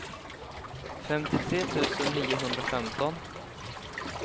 femtiotre tusen niohundrafemton